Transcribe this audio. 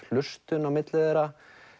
hlustun á milli þeirra